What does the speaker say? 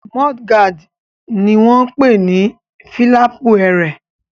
Múdúgáàdì náà ni wọ́n n pè ní fílàpù ẹrẹ̀